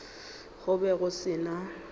go be go se na